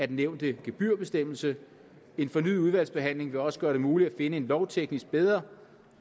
den nævnte gebyrbestemmelse en fornyet udvalgsbehandling vil også gøre det muligt at finde en lovteknisk bedre